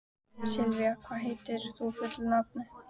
Sylgja, hvað heitir þú fullu nafni?